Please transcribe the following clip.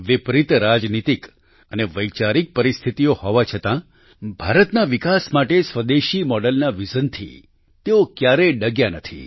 વિપરિત રાજનીતિક અને વૈચારિક પરિસ્થિતીઓ હોવા છતાં ભારતના વિકાસ માટે સ્વદેશી મોડલના વિઝન થી તેઓ ક્યારેય ડગ્યા નથી